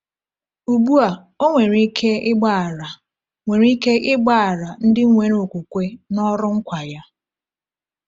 Ugbu a o nwere ike ịgbaghara nwere ike ịgbaghara ndị nwere okwukwe n’ọrụ nkwa ya.